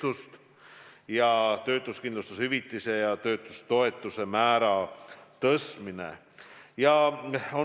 Veel on ettepanek tõsta töötuskindlustushüvitise ja töötutoetuse määra.